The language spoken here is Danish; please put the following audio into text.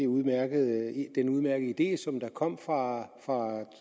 udmærkede idé der kom fra